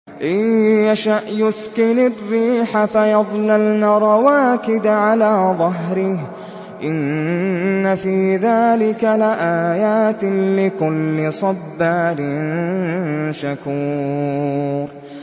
إِن يَشَأْ يُسْكِنِ الرِّيحَ فَيَظْلَلْنَ رَوَاكِدَ عَلَىٰ ظَهْرِهِ ۚ إِنَّ فِي ذَٰلِكَ لَآيَاتٍ لِّكُلِّ صَبَّارٍ شَكُورٍ